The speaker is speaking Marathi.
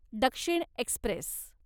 दक्षिण एक्स्प्रेस